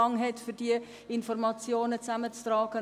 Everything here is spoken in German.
Es ist einfach so: